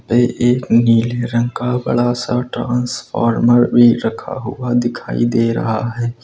यह एक नीले रंग का बड़ा सा ट्रांसफार्मर भी रखा हुआ दिखाई दे रहा है।